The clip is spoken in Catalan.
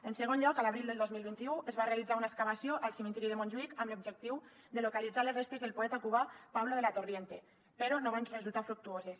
en segon lloc a l’abril del dos mil vint u es va realitzar una excavació al cementiri de montjuïc amb l’objectiu de localitzar les restes del poeta cubà pablo de la torriente però no van resultar fructuoses